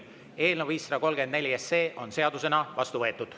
Eelnõu 534 on seadusena vastu võetud.